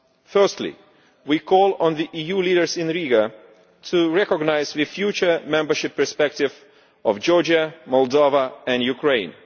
Firstly, we call on the EU leaders in Riga to recognise the future membership perspective of Georgia, Moldova and Ukraine.